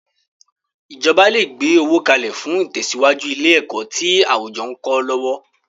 Ìjọba le gbe owó kalẹ̀ fún itesiwaju ilé ẹ̀kọ́ tí àwùjọ ń kọ́ lọ́wọ́.